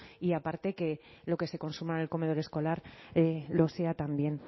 y aparte que lo que se consuma en el comedor escolar lo sea también